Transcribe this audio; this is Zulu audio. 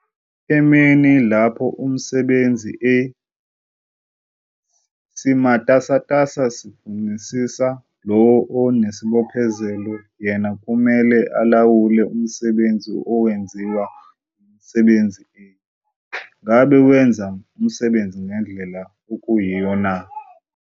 Emini lapho isisebenzi A simatasatasa sifunisisa, lowo onesibophezelo yena kumele alawule umsebenzi owenziwa yisisebenzi A - ngabe wenza umsebenzi ngendlela okuyiyona na?